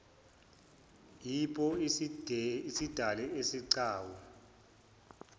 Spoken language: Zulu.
wipo isidale isigcawu